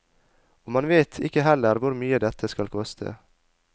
Og man vet ikke heller hvor mye dette skal koste.